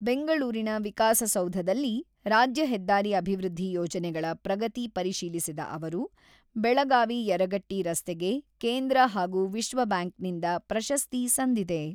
ಬೆಂಗಳೂರಿನ ವಿಕಾಸಸೌಧದಲ್ಲಿ ರಾಜ್ಯ ಹೆದ್ದಾರಿ ಅಭಿವೃದ್ಧಿ ಯೋಜನೆಗಳ ಪ್ರಗತಿ ಪರಿಶೀಲಿಸಿದ ಅವರು, ಬೆಳಗಾವಿ-ಯರಗಟ್ಟಿ ರಸ್ತೆಗೆ ಕೇಂದ್ರ ಹಾಗೂ ವಿಶ್ವ ಬ್ಯಾಂಕ್‌ನಿಂದ ಪ್ರಶಸ್ತಿ ಸಂದಿದೆ.